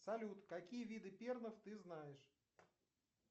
салют какие виды перлов ты знаешь